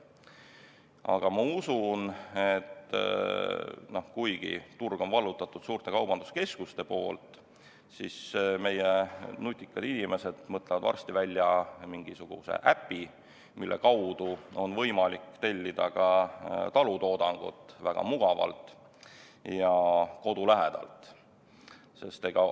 Aga ma usun, et kuigi turu on vallutanud suured kaubanduskeskused, mõtlevad meie nutikad inimesed varsti välja mingisuguse äpi, mille kaudu on võimalik tellida ka talutoodangut väga mugavalt ja kodu lähedalt.